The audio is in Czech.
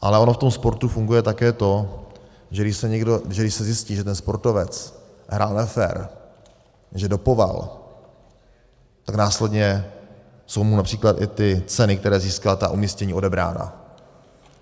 Ale ono v tom sportu funguje také to, že když se zjistí, že ten sportovec hrál nefér, že dopoval, tak následně jsou mu například i ty ceny, které získal, ta umístění odebrána.